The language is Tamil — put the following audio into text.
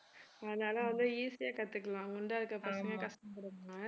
அதனால வந்து easy யா கத்துக்கலாம் குண்டா இருக்கிற பசங்க கஷ்டப்படுவாங்க